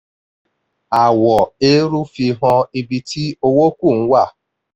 àwọ̀ eérú fihan ibi tí owó kù ń wà.